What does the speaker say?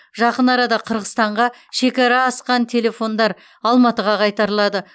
жақын арада қырғызстанға шекара асқан телефондар алматыға қайтарылады